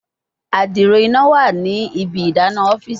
adiro ina wa ni ibi idana ọfiisi